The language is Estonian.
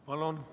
Palun!